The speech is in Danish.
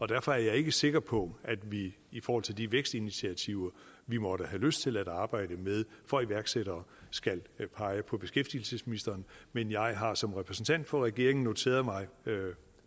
derfor er jeg ikke sikker på at vi i forhold til de vækstinitiativer vi måtte have lyst til at arbejde med for iværksættere skal pege på beskæftigelsesministeren men jeg har som repræsentant for regeringen noteret mig